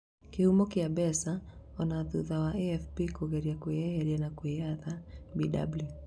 Kĩhumo kia mbica, ona thutha wa AFP kũgeria kwĩyeheria na kwĩyatha, Bw